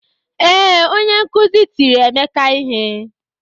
Ee, onye nkuzi tiri Emeka ihe.